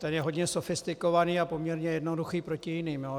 Ten je hodně sofistikovaný a poměrně jednoduchý proti jiným.